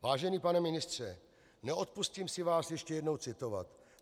Vážený pane ministře, neodpustím si vás ještě jednou citovat.